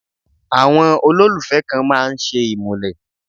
Àwọn olólùfẹ́ kan máa ń ṣe ìmúlẹ̀.